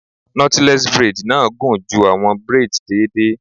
Knotless braid na gun ju awọn braids deede